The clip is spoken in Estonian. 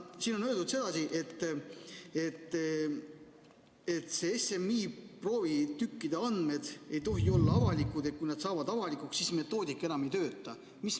Siin on öeldud sedasi, et SMI proovitükkide andmed ei tohi olla avalikud ja kui nad saavad avalikuks, siis metoodika enam ei tööta.